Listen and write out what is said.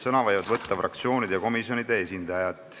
Sõna võivad võtta fraktsioonide ja komisjonide esindajad.